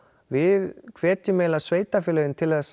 við hvetjum eiginlega sveitarfélögin til